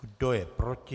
Kdo je proti?